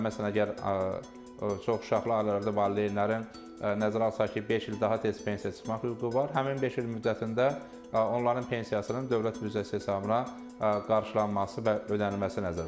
Məsələn əgər çoxuşaqlı ailələrdə valideynlərin nəzərə alsaq ki, beş il daha tez pensiya çıxmaq hüququ var, həmin beş il müddətində onların pensiyasının dövlət büdcəsi hesabına qarşılanması və ödənilməsi nəzərdə tutulur.